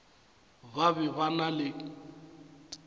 ba be ba na le